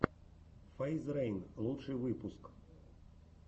фейз рейн лучший выпуск